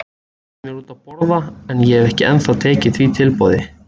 Hann bauð mér út að borða en ég hef ekki ennþá tekið því tilboð.